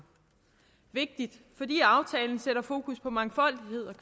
vigtig fordi aftalen sætter fokus på mangfoldighed